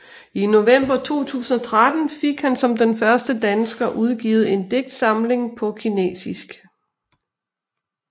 I november 2013 fik han som den første dansker udgivet en digtsamling på kinesisk